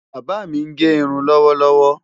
Bàbá mi ń gẹ irun lọ́wọ́lọ́wọ́.